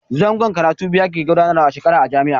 Zangon karatu biyu ake gudanarwa a shekara a jami'a.